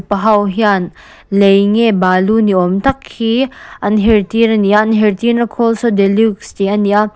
pa ho hian lei nge balu niawm tak hi an her tir a ni a an her tirna khawl saw deluxe tih a ni a--